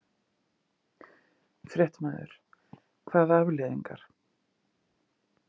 Fréttamaður: Hvaða afleiðingar?